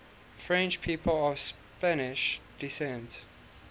french people of spanish descent